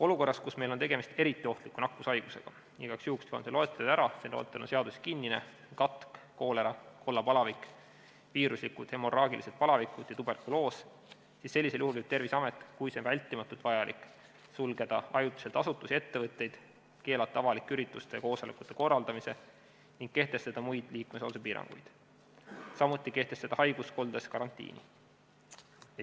Olukorras, kus meil on tegemist eriti ohtliku nakkushaigusega – igaks juhuks toon selle loetelu ära, see loetelu on seaduses kinnine: katk, koolera, kollapalavik, viiruslikud hemorraagilised palavikud ja tuberkuloos –, võib Terviseamet, kui see on vältimatult vajalik, sulgeda ajutiselt asutusi ja ettevõtteid, keelata avalike ürituste ja koosolekute korraldamise ning kehtestada muid liikumispiiranguid, samuti kehtestada haiguskoldes karantiini.